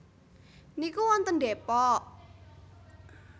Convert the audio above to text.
niku wonten Depok?